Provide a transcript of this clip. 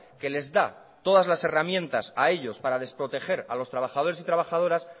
que les da todas las herramientas a ellos para desproteger a los trabajadores y trabajadoras